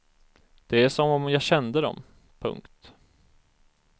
Det är som om jag kände dem. punkt